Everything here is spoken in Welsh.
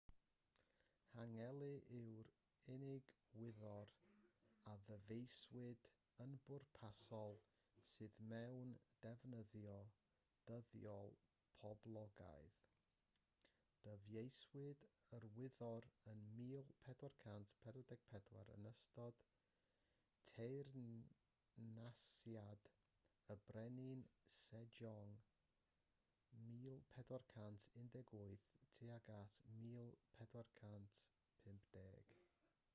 hangeul yw'r unig wyddor a ddyfeisiwyd yn bwrpasol sydd mewn defnyddio dyddiol poblogaidd. dyfeisiwyd yr wyddor ym 1444 yn ystod teyrnasiad y brenin sejong 1418-1450